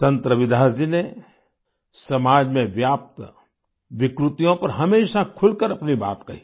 संत रविदास जी ने समाज में व्याप्त विकृतियों पर हमेशा खुलकर अपनी बात कही